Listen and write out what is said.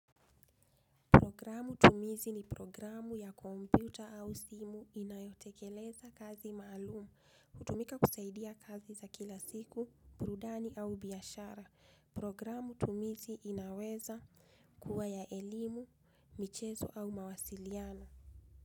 Programu tumizi ni programu ya komputa au simu inayotekeleza kazi maalumu, hutumika kusaidia kazi za kila siku, burudani au biashara. Programu tumizi inaweza kuwa ya elimu, michezo au mawasiliano.